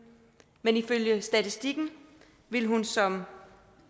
men ifølge statistikken ville hun som